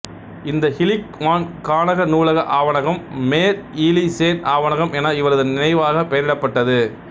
இந்த இலிக் வான்காணக நூலக ஆவணகம் மேர் இலீ சேன் ஆவணகம் என இவரது நினைவாகப் பெயரிடப்பட்டது